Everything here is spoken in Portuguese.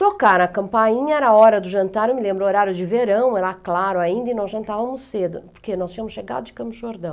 Tocaram a campainha, era hora do jantar, eu me lembro, horário de verão, era claro ainda e nós jantávamos cedo, porque nós tínhamos chegado de Campos do Jordão.